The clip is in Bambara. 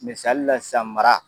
Misali la sisan mara